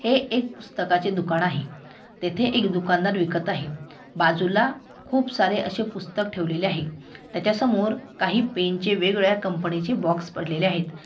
हे एक पुस्तकाचे दुकान आहे. तेथे एक दुकानदार विकत आहे. बाजूला खूप सारे अशे पूस्तक ठेवलेले आहे. त्याच्यासमोर काही पेन चे वेग-वेगळ्या कंपनीचे बॉक्स पडलेले आहेत.